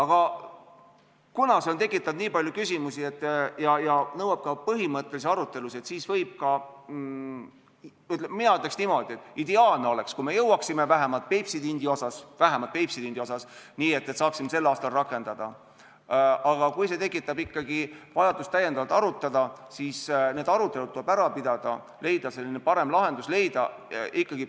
Aga kuna see on tekitanud nii palju küsimusi ja nõuab ka põhimõttelisi arutelusid, siis mina ütleks niimoodi, et ideaalne oleks, kui me jõuaksime vähemalt Peipsi tindi asjas niikaugele, et saaksime seda sellel aastal rakendada, aga kui tekib ikkagi vajadus täiendavalt arutada, siis need arutelud tuleb ära pidada ja leida parem lahendus.